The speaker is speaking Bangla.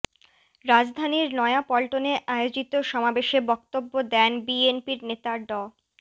রাজধানীর নয়াপল্টনে আয়োজিত সমাবেশে বক্তব্য দেন বিএনপির নেতা ড